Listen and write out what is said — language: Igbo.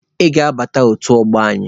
Ị ga-abata otu ọgbọ anyị!